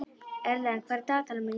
Erlen, hvað er í dagatalinu mínu í dag?